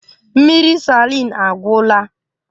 Mmiri salin agwụla